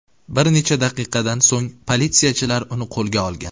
Bir necha daqiqadan so‘ng politsiyachilar uni qo‘lga olgan.